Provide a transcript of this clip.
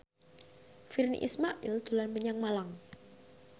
Virnie Ismail dolan menyang Malang